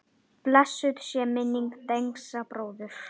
Blessuð sé minning Dengsa bróður.